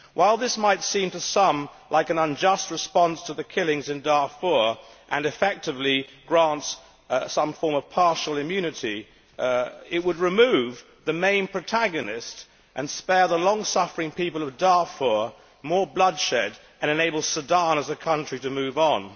While this might seem to some like an unjust response to the killings in Darfur and effectively grants some form of partial immunity, it would remove the main protagonist and spare the long suffering people of Darfur more bloodshed and enable Sudan as a country to move on.